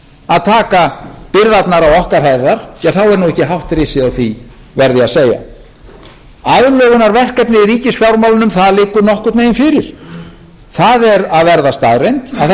að taka byrðarnar á okkar herðar þá er nú ekki hátt risið á því verð ég að segja aðlögunarverkefnið í ríkisfjármálunum liggur nokkurn veginn fyrir það er að verða staðreynd að það stefnir í að minnsta kosti tuttugu milljarða